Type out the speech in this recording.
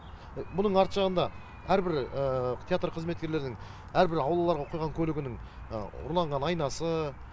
бұның арты жағында әрбір театр қызметкерлерінің әрбір аулаларға қойған көлігінің ұрланған айнасы